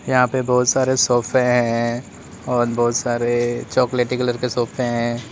यहां पे बहुत सारे सोफे हैं और बहुत सारे चॉकलेटी कलर के सोफे हैं।